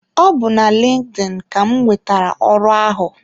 Ọ bu na LinkedIn ka m nwetara ọrụ ahụ.